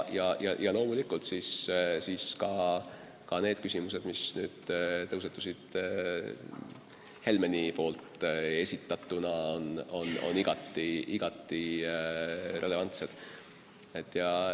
Ja loomulikult küsimused, mis tõusetusid Helmeni esitatuna, on igati relevantsed.